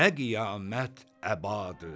nə qiyamət əbadır!